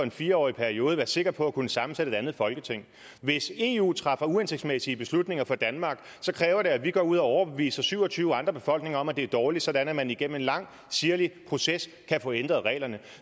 en fire årig periode være sikker på at kunne sammensætte et andet folketing hvis eu træffer uhensigtsmæssige beslutninger for danmark kræver det at vi går ud og overbeviser syv og tyve andre befolkninger om at det er dårligt sådan at man igennem en lang sirlig proces kan få ændret reglerne